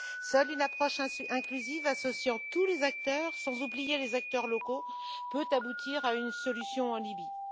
Seule une approche inclusive associant tous les acteurs, sans oublier les acteurs locaux, peut aboutir à une solution en Libye.